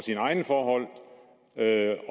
at